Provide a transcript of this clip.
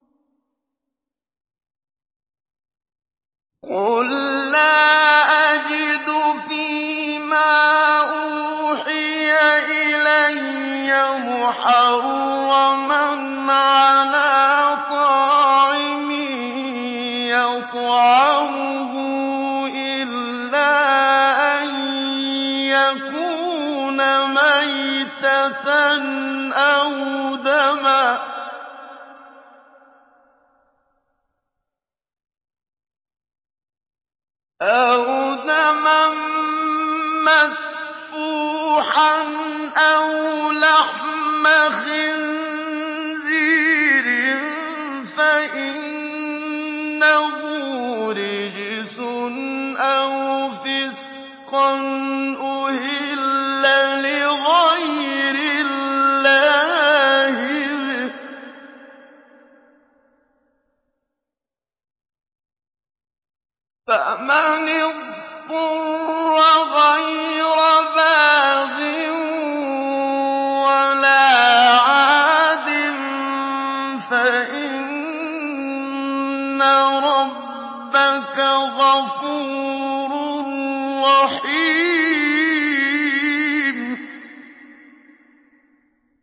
قُل لَّا أَجِدُ فِي مَا أُوحِيَ إِلَيَّ مُحَرَّمًا عَلَىٰ طَاعِمٍ يَطْعَمُهُ إِلَّا أَن يَكُونَ مَيْتَةً أَوْ دَمًا مَّسْفُوحًا أَوْ لَحْمَ خِنزِيرٍ فَإِنَّهُ رِجْسٌ أَوْ فِسْقًا أُهِلَّ لِغَيْرِ اللَّهِ بِهِ ۚ فَمَنِ اضْطُرَّ غَيْرَ بَاغٍ وَلَا عَادٍ فَإِنَّ رَبَّكَ غَفُورٌ رَّحِيمٌ